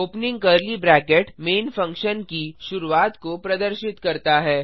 opening curly bracket main function की शुरुआत को प्रदर्शित करता है